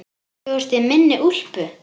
Þú ert í minni úlpu.